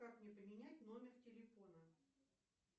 как мне поменять номер телефона